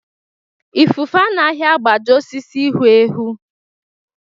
Ifufe anaghị agbaji osisi hu ehu.